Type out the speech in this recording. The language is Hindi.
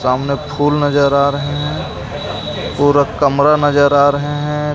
सामने फूल नजर आ रहे हैं पूरा कमरा नजर आ रहे हैं.